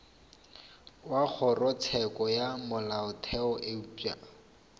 wa kgorotsheko ya molaotheo eupša